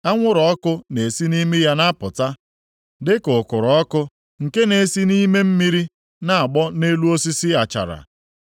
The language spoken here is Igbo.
Anwụrụ ọkụ na-esi nʼimi ya na-apụta, dịka ukuru ọkụ nke na-esi nʼime mmiri na-agbọ nʼelu osisi achara. + 41:20 Lit. Riidi